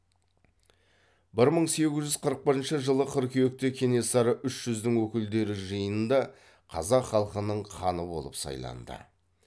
бір мың сегіз жүз қырық бірінші жылы қыркүйекте кенесары үш жүздің өкілдері жиынында қазақ халқының ханы болып сайланды